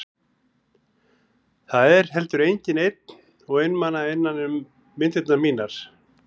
Það er heldur enginn einn og einmana innan um myndirnar mínar.